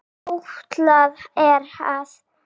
Áætlað er að